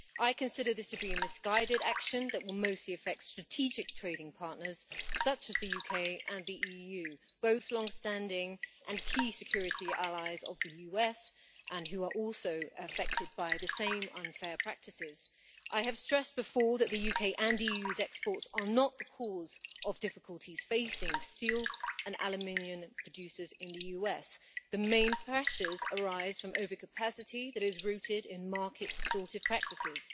I consider this to be a misguided action that will mostly affect strategic trading partners such as the UK and the EU, both long standing and key security allies of the US and who are also affected by the same unfair practices. I have stressed before that the UK and the EU's exports are not the cause of difficulties facing steel and aluminium producers in the US. The main pressures arise from overcapacity that is rooted in market distortive practices.